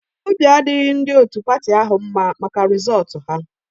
Obi adịghị ndị otu patị ahụ mma maka rịzọọtu ahụ